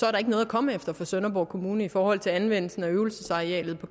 er noget at komme efter for sønderborg kommune i forhold til anvendelsen af øvelsesarealet på